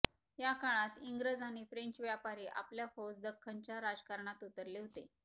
या काळात इंग्रज आणि फ्रेंच व्यापारी आपल्या फौज दख्खनच्या राजकारणात उतरले होते